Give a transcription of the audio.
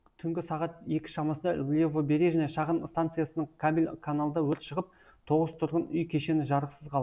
түнгі сағат екі шамасында левобережная шағын станциясының кабель каналында өрт шығып тоғыз тұрғын үй кешені жарықсыз қалды